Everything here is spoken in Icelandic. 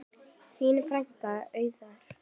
Þín frænka, Auður.